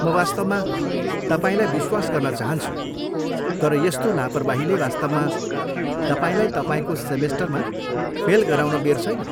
म वास्तवमा तपाईँलाई विश्वास गर्न चाहन्छु, तर यस्तो लापरवाहीले वास्तवमा तपाईँलाई तपाईँको सेमेस्टरमा फेल गराउन बेर छैन।